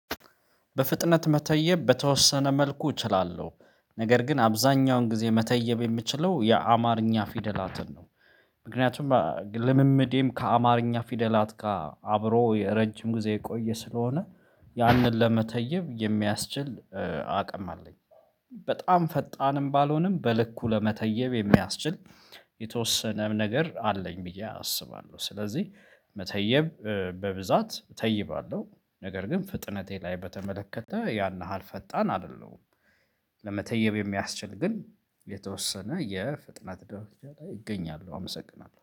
በፍጥነት መተየብ በተወሰነ መልኩ እችላለሁ። ነገር ግን አብዛኛውን ጊዜ መተየብ የምችለው የአማርኛ ፊደላትን ነው። ምክንያቱም ልምምዴም ከአማርኛ ፊደላት ጋር አብሮ ረጅም ጊዜ የቆየ ስለሆነ። ያንን ለመተየብ የሚያስችል አቅም አለኝ። በጣም ፈጣንም ባልሆንም በልኩ ለመተየብ የሚያስችል የተወሰነ ነገር አለኝ ብዬ አስባለሁ። ስለዚህ መተየብ በብዛት እተይባለሁ ነገር ግን ፍጥነቴ ላይ በተመለከተ ያን ያህል ፈጣን አይደለሁም። ለመተየብ የሚያስችል ግን የተወሰነ የፍጥነት ደረጃ ላይ እገኛለሁ። አመሰግናለሁ